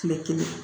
Kile kelen